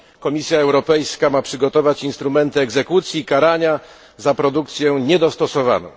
Komisja Europejska ma przygotować instrumenty egzekucji i karania za produkcję niedostosowaną.